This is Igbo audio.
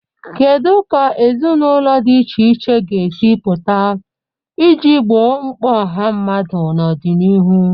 Kedu ka ezinụlọ di iche iche ga-esi pụta iji gboo mkpa ọha mmadụ n'ọdịnihu?